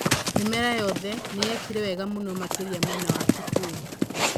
Mĩmera yothe nĩyekire wega mũno makĩria mwena wa Kitui